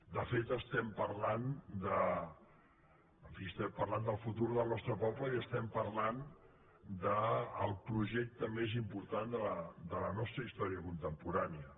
de fet estem parlant del futur del nostre poble i estem parlant del projecte més important de la nostra història contemporània